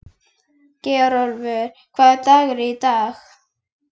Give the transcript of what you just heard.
Geirólfur, hvaða dagur er í dag?